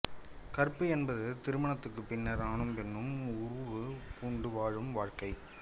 கற்பு என்பது திருமணத்துக்குப் பின்னர் ஆணும் பெண்ணும் உறவு பூண்டு வாழும் வாழ்க்கை